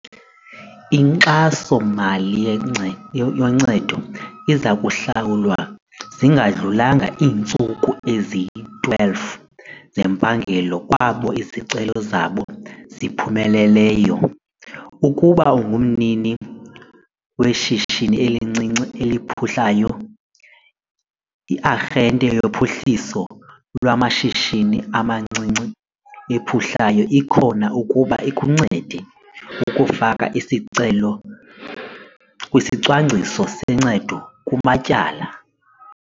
Inkxaso-mali yoncedo iza kuhlawulwa zingadlulanga iintsuku ezi-12 zempangelo kwabo izicelo zabo ziphumeleleyo. Ukuba ungumnini weshishini elincinci eliphuhlayo, i-Arhente yoPhuhliso lwaMashishini amaNcinci aPhuhlayo ikhona ukuba ikuncede ukufaka isicelo kwisicwangciso soncedo kumatyala.